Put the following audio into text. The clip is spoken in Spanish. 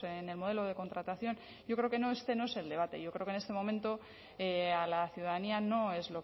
en el modelo de contratación yo creo que este no es el debate yo creo que en este momento a la ciudadanía no es